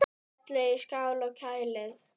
Hellið í skál og kælið.